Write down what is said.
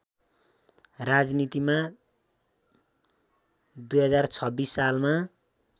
राजनीतिमा २०२६ सालमा